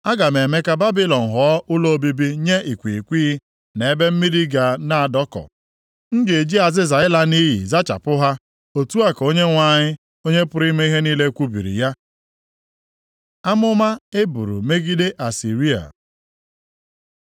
Aga m eme ka Babilọn ghọọ ụlọ obibi nye ikwighịkwighị, na ebe mmiri ga na-adọkọ. M ga-eji azịza ịla nʼiyi zachapụ ha.” Otu a ka Onyenwe anyị, Onye pụrụ ime ihe niile kwubiri ya. Amụma e buru megide Asịrịa